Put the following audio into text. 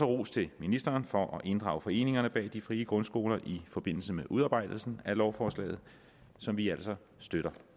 rose ministeren for at inddrage foreningerne bag de frie grundskoler i forbindelse med udarbejdelsen af lovforslaget som vi altså støtter